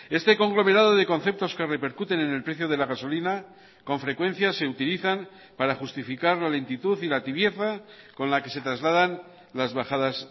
este conglomerado de conceptos que repercuten en el precio de la gasolina con frecuencia se utilizan para justificar la lentitud y la tibieza con la que se trasladan las bajadas